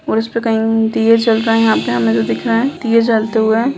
और उसपे कहीं दीये जल रहे हैं यहां पे हमें तो दिख रहा है दीये जलते हुए।